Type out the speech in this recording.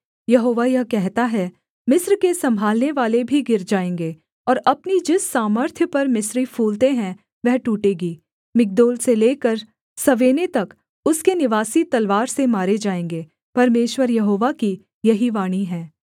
यहोवा यह कहता है मिस्र के सम्भालनेवाले भी गिर जाएँगे और अपनी जिस सामर्थ्य पर मिस्री फूलते हैं वह टूटेगी मिग्दोल से लेकर सवेने तक उसके निवासी तलवार से मारे जाएँगे परमेश्वर यहोवा की यही वाणी है